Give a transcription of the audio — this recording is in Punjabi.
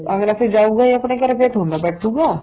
ਅੱਗਲਾ ਤੇ ਜਾਉਗਾ ਈ ਆਪਣੇ ਘਰੇ ਫੇਰ ਥੋੜਾ ਨਾ ਬੈਠੁਗਾ